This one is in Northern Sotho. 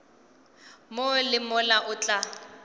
mo le mola o tla